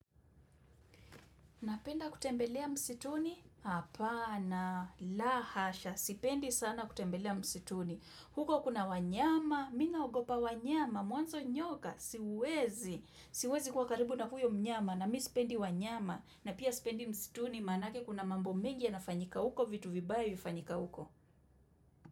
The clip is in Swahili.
Napenda kutembelea msituni? Hapana, la hasha, sipendi sana kutembelea msituni. Huko kuna wanyama, mimi naogopa wanyama, mwanzo nyoka, siwezi. Siwezi kuwa karibu na huyo mnyama, na mimi sipendi wanyama, na pia sipendi msituni, maanake kuna mambo mengi yanafanyika huko, vitu vibaya vinafanyika uko.